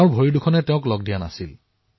তেওঁৰ ভৰি অকামিলা